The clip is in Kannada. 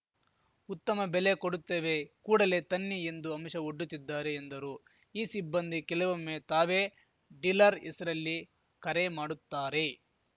ಉತ್ತಮ ಬೆಲೆ ಕೊಡುತ್ತೇವೆ ಕೂಡಲೇ ತನ್ನಿ ಎಂದು ಆಮಿಷ ಒಡ್ಡುತ್ತಿದ್ದಾರೆ ಎಂದರು ಈ ಸಿಬ್ಬಂದಿ ಕೆಲವೊಮ್ಮೆ ತಾವೇ ಡೀಲರ್‌ ಹೆಸರಲ್ಲಿ ಕರೆ ಮಾಡುತ್ತಾರೆ